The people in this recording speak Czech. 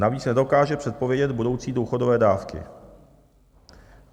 Navíc nedokáže předpovědět budoucí důchodové dávky.